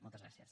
moltes gràcies